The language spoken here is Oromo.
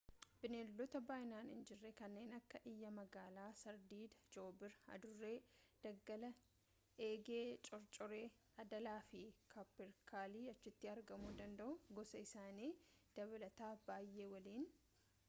bineeldota baay'inaan hin jirre kanneen akka iyyaa magaalaa sardiidaa joobira adurree daggalaa eegee cocorree adaalaa fi kaapperkalii achitti argaamuu danda'u gosa isaanii dabalataa baay'ee waliin